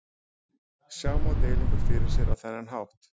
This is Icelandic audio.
Sjá má deilingu fyrir sér á þennan hátt.